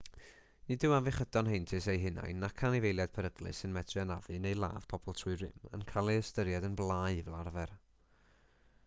nid yw afiechydon heintus eu hunain nac anifeiliaid peryglus sy'n medru anafu neu ladd pobl trwy rym yn cael eu hystyried yn blâu fel arfer